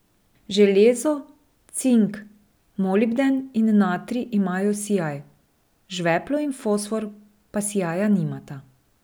Železo, cink, molibden in natrij imajo sijaj, žveplo in fosfor pa sijaja nimata.